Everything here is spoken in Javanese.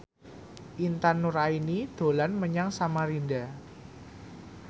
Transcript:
Intan Nuraini dolan menyang Samarinda